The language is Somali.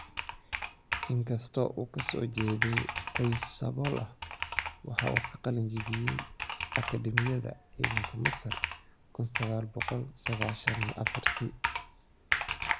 In kasta oo uu ka soo jeeday qoys sabool ah, waxa uu ka qalin jabiyay Akademiyada Ciidanka Masar kuun sagaal boqol sagashan iyo afartii.